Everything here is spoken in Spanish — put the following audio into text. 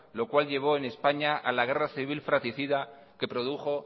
lo cual llevo en españa a la guerra civil fratricida que produjo